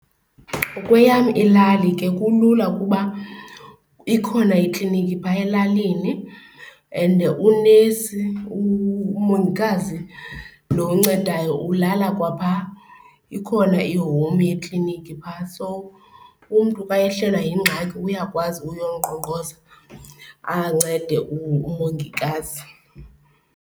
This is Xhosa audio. Kweyam ilali ke kulula ukuba ikhona ikliniki phaa elalini and unesi, umongikazi lo oncedayo ulala kwaphaa. Ikhona i-home yekliniki phaa, so umntu xa ehlelwa yingxaki uyakwazi uyonqonqoza ancede umongikazi.